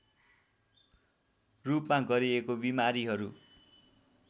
रूपमा गरिएको बिमारीहरू